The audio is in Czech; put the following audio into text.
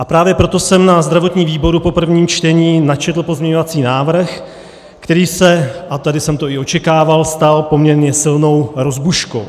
A právě proto jsem na zdravotním výboru po prvním čtení načetl pozměňovací návrh, který se - a tady jsem to i očekával - stal poměrně silnou rozbuškou.